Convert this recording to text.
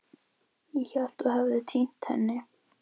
Ég hélt að þú hefðir týnt henni.